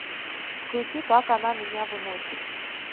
включи как она меня выносит